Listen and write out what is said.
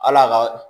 Hal'a ka